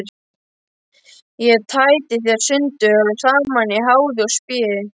Ég tæti þær sundur og saman í háði og spéi.